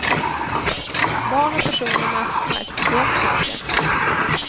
Barn och personer med astma är speciellt känsliga.